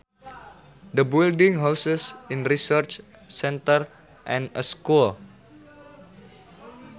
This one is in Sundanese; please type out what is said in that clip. The building houses a research centre and a school